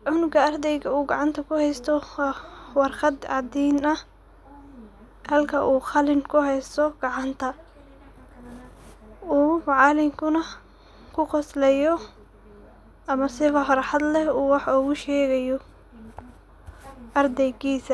kuhesto cunuga ardayga ah waa warqad cadin ah halke uu qalin kuhesto gacanta kale ama macalinku ku qoslayo ama si farxad leh u wax ugu shegayo ardaygisa.